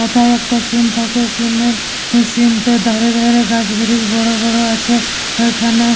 এথায় একটা সিন থাকে সিনের সিন থে ধারে ধারে গাছ ব্রিজ বড় বড় আছে ওইখানে--